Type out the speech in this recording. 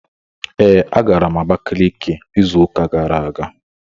Ee, agara m Abakiliki izu ụka gara aga